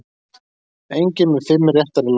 Enginn með fimm réttar í lottó